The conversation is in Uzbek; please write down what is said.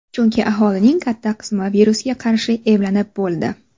Chunki aholining katta qismi virusga qarshi emlanib bo‘ldi.